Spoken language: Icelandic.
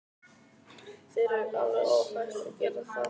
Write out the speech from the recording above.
Þér er alveg óhætt að gera það!